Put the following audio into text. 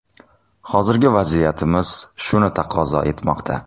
Hozirgi vaziyatimiz shuni taqozo etmoqda.